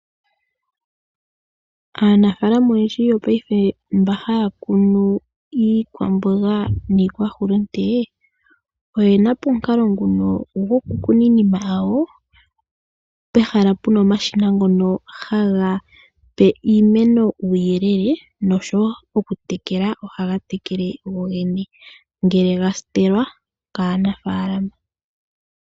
Aanafaalama oyendji yopaife MBA haya kunu iikwamboga niikwa hulunde, oyena po omukalo nguno goku kuna iinima hayo pehala puna omashina ngono ha ga pe iimeno uuyelele noshowo oku tekela ohaga tekele go gene, ngele ga stelwa kanafaalama.